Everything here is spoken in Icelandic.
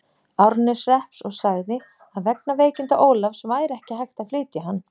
Árneshrepps og sagði, að vegna veikinda Ólafs væri ekki hægt að flytja hann.